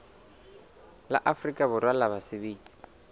la afrika borwa la basebetsi